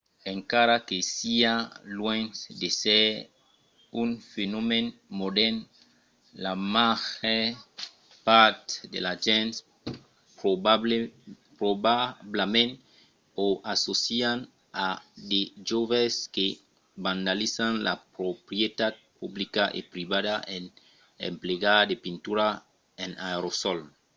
encara que siá luènh d’èsser un fenomèn modèrn la màger part de las gents probablament o assòcian a de joves que vandalizan la proprietat publica e privada en emplegar de pintura en aerosòl